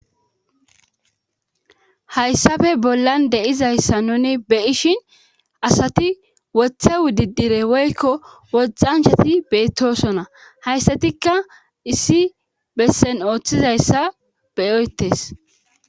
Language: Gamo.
hayssafe bollan deizayssa nuni be ishin asati wothe wudidire woykko woxanchati beettosona hayssatikka issi bessen ooththizayssa beyoyetes